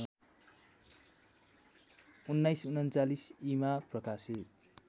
१९४९ ई‌मा प्रकाशित